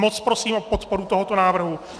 Moc prosím o podporu tohoto návrhu.